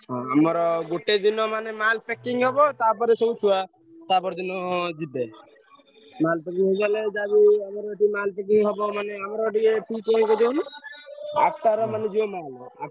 ହଁ ଆମର ଗୋଟେ ଦିନ ମାନେ mall packing ହବ ତାପର ଛୁଆ ତାପରଦିନ ଯିବେ mall packing ହେଇଗଲେ ଯାହାବି ଆମର ଏଠି mall packing ହବ ଆଠଟା ରେ ମାନେ ଯିବ mall ।